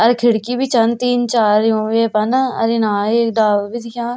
अर खिड़की भी छन तीन चार यू ये पर न अर इना एक डाल भी दिखा।